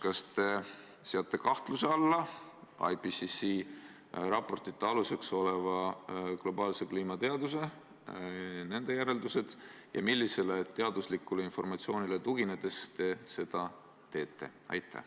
Kas te seate kahtluse alla IPCC raportite aluseks oleva globaalse kliimateaduse järeldused ja millisele teaduslikule informatsioonile tuginedes te seda teete?